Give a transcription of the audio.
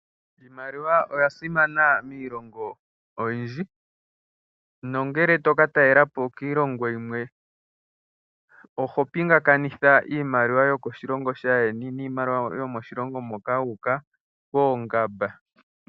Iimaliwa oya simana miilongo oyindji. Nongele toka talela po kiilongo yimwe oho pingakanitha iimaliwa yomoshilongo shaandjeni niimaliwa yomoshilongo moka wu uka poongamba.